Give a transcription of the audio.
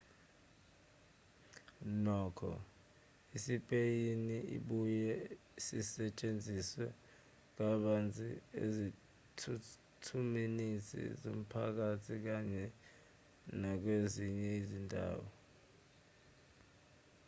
nokho isipeyini sibuye sisetshenziswe kabanzi ezithuthini zomphakathi kanye nakwezinye izindawo